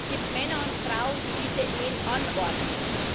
Es gibt Männer und Frauen, die diese Ehen anordnen.